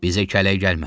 Bizə kələk gəlmə.